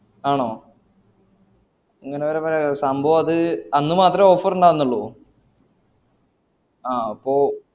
ആണോ അങ്ങനെ സംഭവത് അന്ന് മാത്രേ offer ഇണ്ടാർന്നോള്ളൂ ആഹ് അപ്പോ